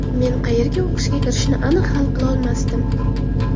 Men qayerga o‘qishga kirishni aniq hal qilolmasdim.